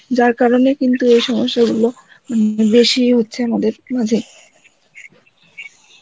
যার কারণ এ কিন্তু এ সমস্যা গুলো উম উম বেশি হচ্ছে আমাদের মাঝে